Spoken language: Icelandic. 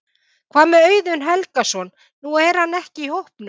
Hvað með Auðun Helgason, nú er hann ekki í hópnum?